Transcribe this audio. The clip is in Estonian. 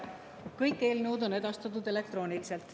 Kõik eelnõud on edastatud elektrooniliselt.